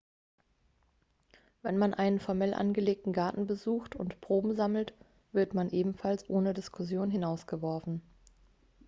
wenn man einen formell angelegten garten besucht und proben sammelt wird man ebenfalls ohne diskussion hinausgeworfen